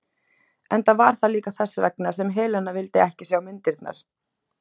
Enda var það líka þess vegna sem Helena vildi ekki sjá myndirnar.